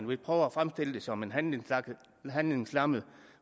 vil prøve at fremstille det som en handlingslammet handlingslammet